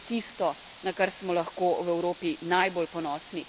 In to je tisto, na kar smo lahko v Evropi najbolj ponosni.